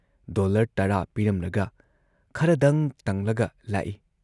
Dollar ꯱꯰ ꯄꯤꯔꯝꯂꯒ ꯈꯔꯗꯪ ꯇꯪꯂꯒ ꯂꯥꯛꯏ ꯫